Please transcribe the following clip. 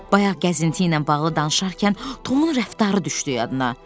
Bayaq gəzinti ilə bağlı danışarkən Tomun rəftarı düşdü yadına.